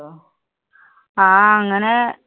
ആ, അങ്ങനെ